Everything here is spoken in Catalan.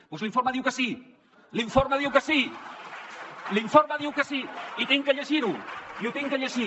doncs l’informe diu que sí l’informe diu que sí l’informe diu que sí i he de llegir ho i ho he de llegir